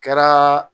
Kɛra